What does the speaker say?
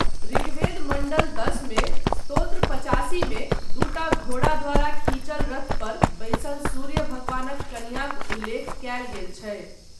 ऋग्वेद मण्डल दश मे, स्तोत्र पचासी मे दूटा घोड़ा द्वारा खींचल रथ पर बैसल सूर्य भगवानक कनियाँक उल्लेख कयल गेल छै।